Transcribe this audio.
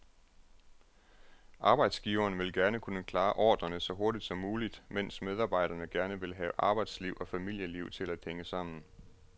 Arbejdsgiveren vil gerne kunne klare ordrerne så hurtigt som muligt, mens medarbejderne gerne vil have arbejdsliv og familieliv til at hænge sammen.